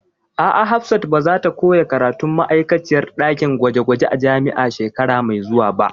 A'a, Hafsat ba zata koya karatun ma'aikaciyar ɗakin gwaje gwaje a jami'a shekara mai zuwa ba